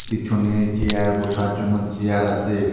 পিছনে চেয়ার বোসার জন্য চেয়ার আসে।